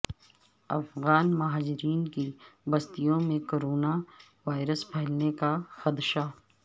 افغان مہاجرین کی بستیوں میں کرونا وائرس پھیلنے کا خدشہ